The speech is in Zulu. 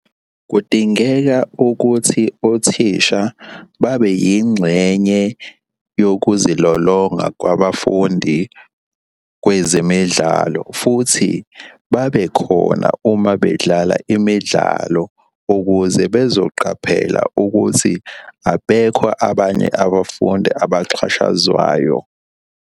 Kudingeka ukuthi othisha babe yingxenye yokuzilolonga kwabafundi kwezemidlalo futhi babekhona uma bedlala imidlalo ukuze bezoqaphela ukuthi abekho abanye abafundi abaxhashazwayo.